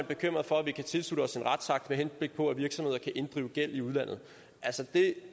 bekymret for at vi kan tilslutte os en retsakt med henblik på at virksomheder kan inddrive gæld i udlandet så